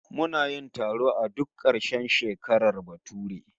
Muna yin taro a duk karshen shekarar bature